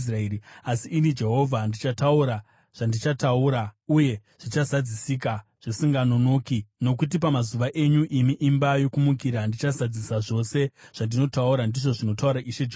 Asi ini Jehovha ndichataura zvandichataura, uye zvichazadzisika zvisinganonoki. Nokuti pamazuva enyu, imi imba yokumukira, ndichazadzisa zvose zvandinotaura, ndizvo zvinotaura Ishe Jehovha.’ ”